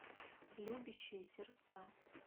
любящие сердца